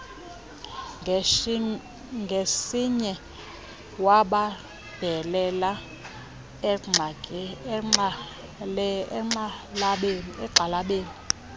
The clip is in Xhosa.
ngesinye wabambelela egxalabeni